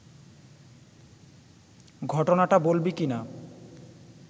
ঘটনাটা বলবি কি না